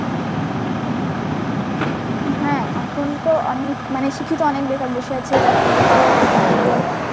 হ্যাঁ এখন তো অনেক মানে শিক্ষিত অনেক বেকার বসে আছে চাকরিই পাওয়া যাচ্ছে না এরকম.